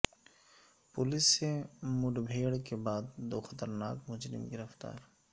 police سے مدبھیڑ کے بعد دو خطرناک مجرم گرفتار